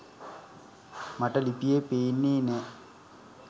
මට ලිපියේ පේන්නේ නෑ.